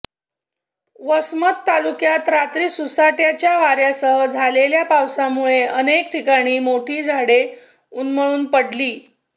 वसमत तालुक्यात रात्री सुसाट्याच्या वाऱ्यासह झालेल्या पाऊसामुळे अनेक ठिकाणी मोठी झाडे उन्मळून पडली